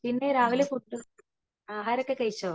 പിന്നെ രാവിലെ ഫുഡ് ആഹാരം ഒക്കെ കഴിച്ചോ